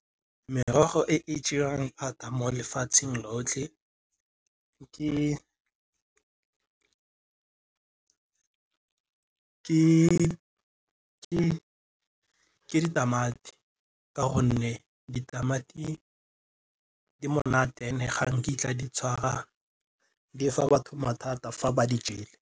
Merogo e e jewang thata mo lefatsheng lotlhe ke ditamati ka gonne ditamati di monate and e ga nkitla di tshwara di fa bathata fa ba di jele.